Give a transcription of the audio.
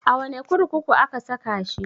A wane kurkuku aka saka shi?